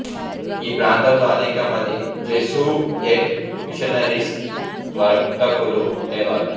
ఈ ప్రాంతంలో అనేక మంది జెసూయెట్ మిషనరీస్ వర్తకులు ఉండేవారు